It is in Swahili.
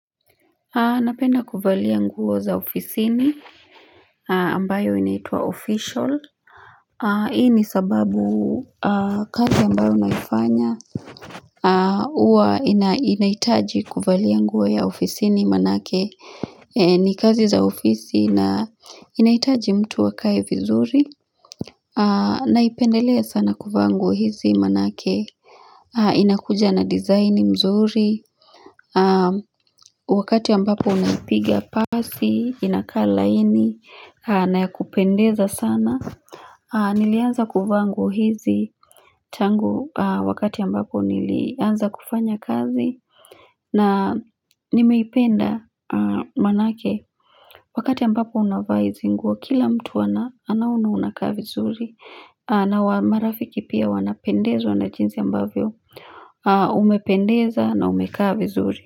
Napenda kuvaliya nguo za ofisini ambayo inaitua official Hii ni sababu kazi ambayo naifanya Uwa inaitaji kuvaliya nguo ya ofisini manake ni kazi za ofisi na inaitaji mtu wakaye vizuri Naipendelea sana kuva nguo hizi manake inakuja na design mzuri wakati ambapo unapiga pasi inaka lahini nayakupendeza sana nilianza kuva nguo hizi tangu wakati ambapo nilianza kufanya kazi na nimeipenda manake wakati ambapo unava hisi nguo kila mtu anaona unaka vizuri na marafiki pia wanapendezwa na jinsi ambavyo umependeza na umeka vizuri.